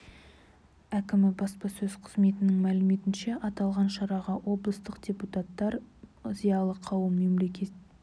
әкімі баспасөз қызметінің мәліметінше аталған шараға облыстық депутаттар зиялы қауым мемлекеттік орган қызметкерлері мен этномәдени бірлестіктері